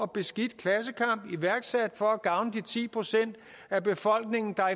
beskidt klassekamp iværksat for at gavne de ti procent af befolkningen der